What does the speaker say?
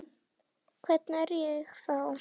Hvernig er ég þá?